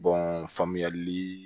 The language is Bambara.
faamuyali